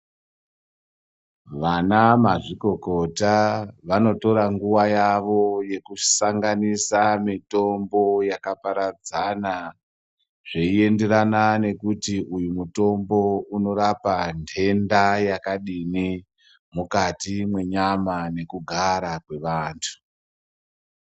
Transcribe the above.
Vana mazvikokota vanotora nguva yavo yekusanganisa mitombo yakaparadzana. Zveienderana nekuti uyu mutombo unorapa nhenda yakadini mukati mwenyama nekugara kwevantu.